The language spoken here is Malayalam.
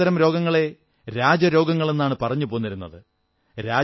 പണ്ട് ഇത്തരം രോഗങ്ങളെ രാജരോഗങ്ങളെന്നാണു പറഞ്ഞു പോന്നിരുന്നത്